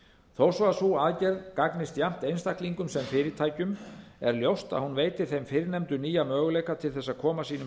þó svo að sú aðgerð gagnist jafnt einstaklingum sem fyrirtækjum er ljóst að hún veitir þeim fyrrnefndu nýja möguleika til þess að koma sínum